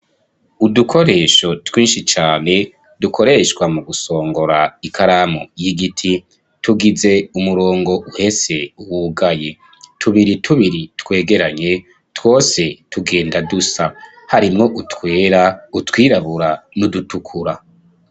Udukoresho twinshi cane dukoreshwa mugusongora ikaramu y'igiti tugize umurongo uhese wugaye, tubiri tubiri twegeranye twose tugenda dusa harimwo utwera, utwirabura n'udutukura.